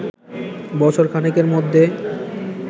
বছর খানেকের মধ্যে